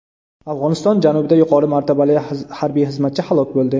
Afg‘oniston janubida yuqori martabali harbiy xizmatchi halok bo‘ldi.